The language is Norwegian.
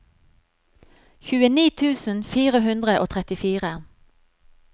tjueni tusen fire hundre og trettifire